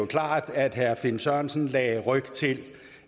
klart at herre finn sørensen lagde ryg til